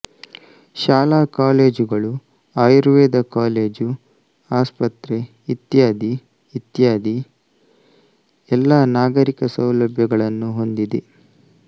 ಶಾಲಾ ಕಾಲೇಜುಗಳು ಆಯುರ್ವೇದ ಕಾಲೇಜು ಆಸ್ಪತ್ರೆ ಇತ್ಯಾದಿ ಇತ್ಯಾದಿ ಎಲ್ಲಾ ನಾಗರಿಕ ಸೌಲಭ್ಯಗಳನ್ನೂ ಹೊಂದಿದೆ